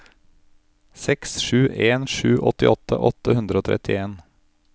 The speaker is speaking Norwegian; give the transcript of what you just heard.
seks sju en sju åttiåtte åtte hundre og trettien